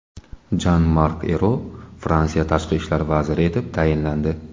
Jan-Mark Ero Fransiya tashqi ishlar vaziri etib tayinlandi.